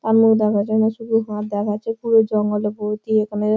দেখা যায় না শুধু মাঠ দেখাচ্ছে পুরো জঙ্গল এ ভর্তিই এখানে--